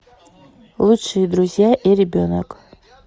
лучшие друзья и ребенок